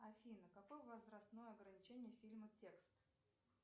афина какое возрастное ограничение фильма текст